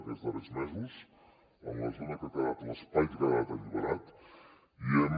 aquests darrers mesos en la zona que ha quedat l’espai que ha quedat alliberat hi hem